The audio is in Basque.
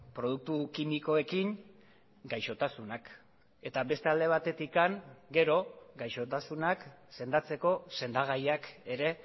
produktu kimikoekin gaixotasunak eta beste alde batetik gero gaixotasunak sendatzeko sendagaiak ere